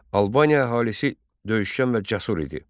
Albaniya əhalisi döyüşkən və cəsur idi.